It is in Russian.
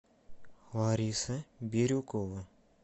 лариса бирюкова